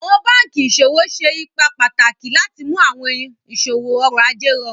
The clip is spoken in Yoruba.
Awọn bankí iṣọwọ ṣé ípà pátàkì láti mú awọn iṣọwọ ọ̀rọ̀-àjẹ̀ rọ̀rùn